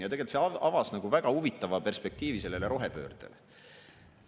Ja tegelikult see avas väga huvitava perspektiivi sellele rohepöördele.